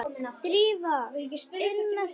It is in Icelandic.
Drífa, inn með þig!